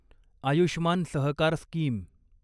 Ayushman Sahakar scheme